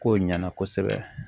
Kow ɲɛna kosɛbɛ